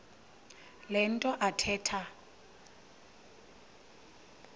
le nto athetha